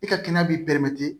E ka kɛnɛya b'i bɛrɛmati